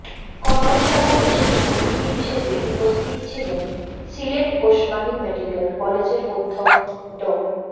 কর্মশালায় বিশেষ অতিথি হিসেবে উপস্থিত ছিলেন সিলেট ওসমানী মেডিকেল কলেজের অধ্যক্ষ ড